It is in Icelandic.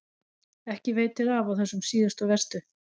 Ekki veitir af á þessum síðustu og verstu.